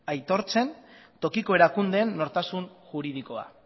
aitortzen tokiko erakundeen nortasun juridikoa